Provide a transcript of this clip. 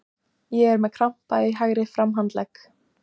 Ég er með krampa í hægri framhandlegg.